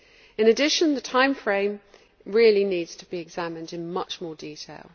In addition, the time frame really needs to be examined in much more detail.